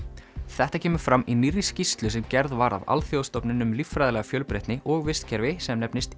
þetta kemur fram í nýrri skýrslu sem gerð var af alþjóðastofnun um líffræðilega fjölbreytni og vistkerfi sem nefnist